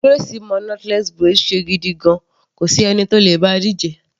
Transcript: Grace mo knotless braid ṣe gidigan, kò sí ẹni tó le bá a díje.